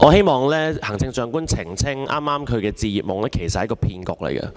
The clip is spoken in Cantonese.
我希望行政長官澄清，她剛才提及的"置業夢"其實只是一個騙局。